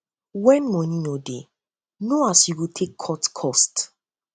when money no um de um no as you go um take cut cost